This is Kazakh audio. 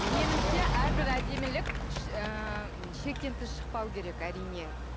меніңше әрбір әдемілік ы шектен тыс шықпау керек әрине